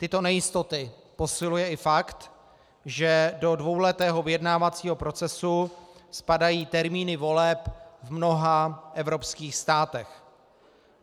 Tyto nejistoty posiluje i fakt, že do dvouletého vyjednávacího procesu spadají termíny voleb v mnoha evropských státech.